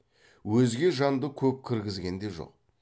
өзге жанды көп кіргізген де жоқ